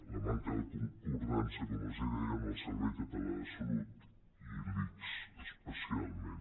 la manca de concordança com els deia amb el servei català de salut i l’ics especialment